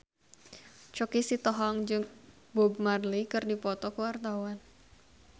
Choky Sitohang jeung Bob Marley keur dipoto ku wartawan